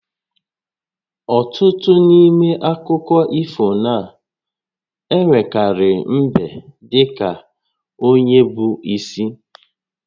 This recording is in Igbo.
Ọtụtụ n'ime akụkọ ifona-enwekarị mbe dị ka onye bụ isi